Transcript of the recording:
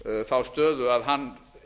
þá stöðu að hann